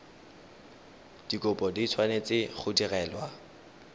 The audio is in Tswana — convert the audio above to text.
dikopo di tshwanetse go direlwa